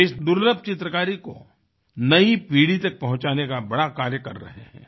वे इस दुर्लभ चित्रकारी को नई पीढ़ी तक पहुँचाने का बड़ा कार्य कर रहे हैं